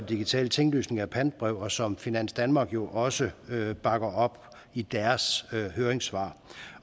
digitale tinglysning af pantebreve og som finans danmark jo også bakker op i deres høringssvar